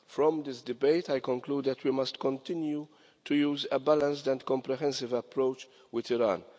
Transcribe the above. From this debate, I conclude that we must continue to use a balanced and comprehensive approach with Iran.